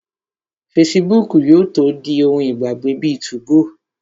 Fesibúùkù yóò tó di ohun ìgbàgbé bíi 2go